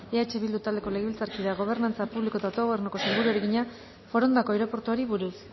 eh bildu taldeko legebiltzarkideak gobernantza publiko eta autogobernuko sailburuari egina forondako aireportuari buruz